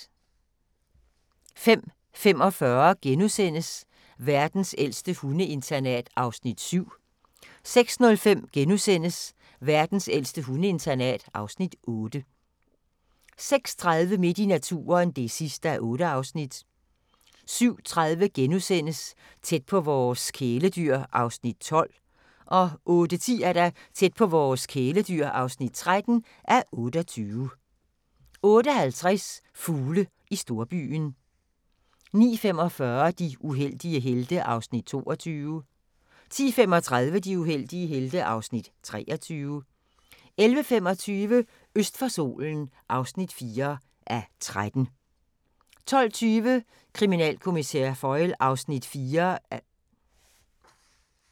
05:45: Verdens ældste hundeinternat (Afs. 7)* 06:05: Verdens ældste hundeinternat (Afs. 8)* 06:30: Midt i naturen (8:8) 07:30: Tæt på vores kæledyr (12:28)* 08:10: Tæt på vores kæledyr (13:28) 08:50: Fugle i storbyen 09:45: De uheldige helte (Afs. 22) 10:35: De uheldige helte (Afs. 23) 11:25: Øst for solen (4:13) 12:20: Kriminalkommissær Foyle (Afs. 4)